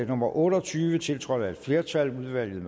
nummer otte og tyve tiltrådt af et flertal